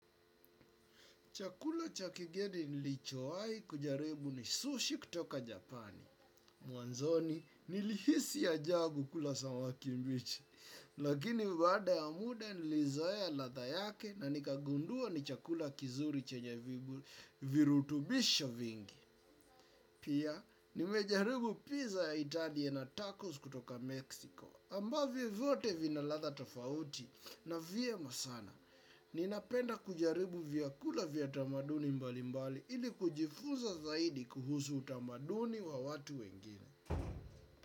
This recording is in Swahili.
Chakula cha kigeni nilichowai kujaribu ni sushi kutoka Japani. Mwanzoni nilihisi ajabu kula samaki mbichi. Lakini baada ya muda nilizoea latha yake na nikagundua ni chakula kizuri chenye virutubisha vingi. Pia nimejaribu pizza ya Italia na tacos kutoka Mexico. Ambavyo vyote vina latha tofauti na vyema sana. Ninapenda kujaribu vyakula vya tamaduni mbali mbali ili kujifunza zaidi kuhusu utamaduni wa watu wengine.